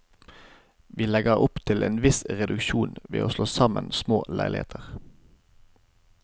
Vi legger opp til en viss reduksjon ved å slå sammen små leiligheter.